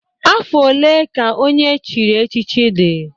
Afọ one ka onye echiri echichi dị?